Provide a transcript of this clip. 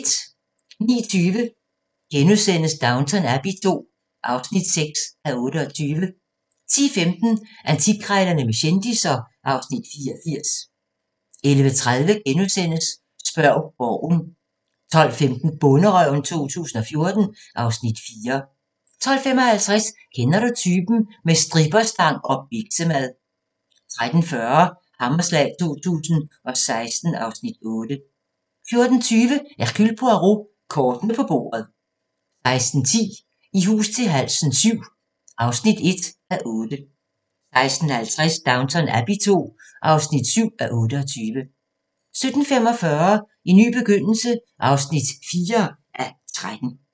09:20: Downton Abbey II (6:28)* 10:15: Antikkrejlerne med kendisser (Afs. 84) 11:30: Spørg Borgen * 12:15: Bonderøven 2014 (Afs. 4) 12:55: Kender du typen? – med stripperstang og biksemad 13:40: Hammerslag 2016 (Afs. 8) 14:20: Hercule Poirot: Kortene på bordet 16:10: I hus til halsen VII (1:8) 16:50: Downton Abbey II (7:28) 17:45: En ny begyndelse (4:13)